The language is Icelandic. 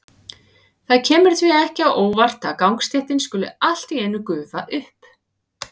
Það kemur því ekki á óvart að gangstéttin skuli allt í einu gufa upp.